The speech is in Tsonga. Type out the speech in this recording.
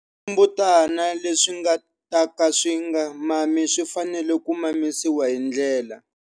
Swimbutana leswi nga ta ka swi nga mami swi fanele ku mamisiwa hi ndlela.